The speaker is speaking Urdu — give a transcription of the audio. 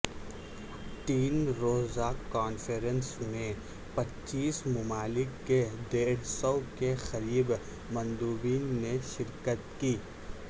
تین روزہ کانفرنس میں پچیس ممالک کے ڈیڑھ سو کے قریب مندوبین نے شرکت کی